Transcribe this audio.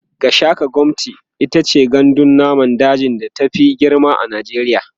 Gashaka-gumti itace gandun namun daji da ta Fi girma a najeriya